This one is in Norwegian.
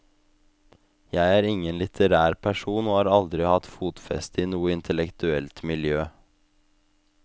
Jeg er ingen litterær person og har aldri hatt fotfeste i noe intellektuelt miljø.